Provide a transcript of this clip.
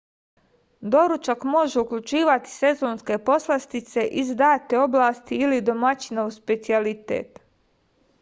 doručak može uključivati sezonske poslastice iz date oblasti ili domaćinov specijalitet